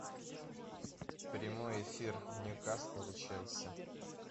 прямой эфир ньюкасл и челси